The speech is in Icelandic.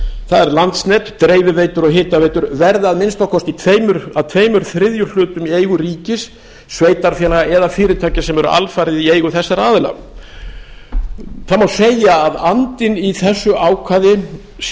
það er landsnet dreifiveitur og hitaveitur verði að minnsta kosti að tveir þriðju hlutum í eigu ríkis sveitarfélaga eða fyrirtækja sem eru alfarið í eigu þessara aðila það má segja að andinn í þessu ákvæði sé